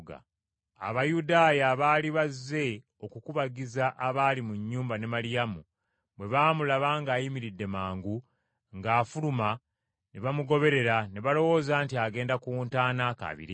Abayudaaya abaali bazze okukubagiza abaali mu nnyumba ne Maliyamu bwe baamulaba ng’ayimiridde mangu ng’afuluma ne bamugoberera ne balowooza nti agenda ku ntaana akaabire eyo.